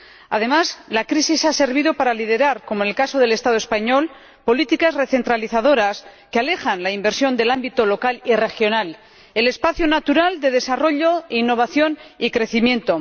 Además, la crisis ha servido para liderar, como en el caso del Estado español, políticas recentralizadoras que alejan la inversión del ámbito local y regional, el espacio natural de desarrollo, innovación y crecimiento.